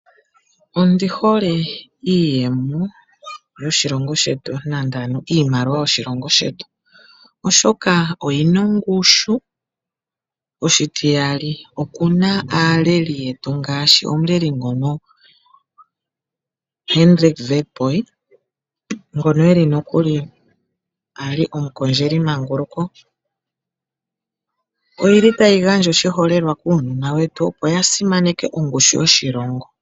Ondi hole iiyemo yoshilongo shetu nande ano iimaliwa yoshilongo shetu, oshoka oyina ongushu, oshitiyali okuna aaleli yetu ngaashi omuleli ngono Hendrick Witbooi ngono eli nokuli ali omukondjeli manguluko. Oyili tayi gandja oshiholelwa kuunona wetu, opo ya simaneke ongushu yoshilongo.